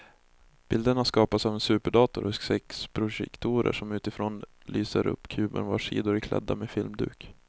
Bilderna skapas av en superdator och sex projektorer som utifrån lyser upp kuben vars sidor är klädda med filmduk.